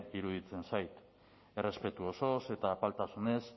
iruditzen zait errespetu osoz eta apaltasunez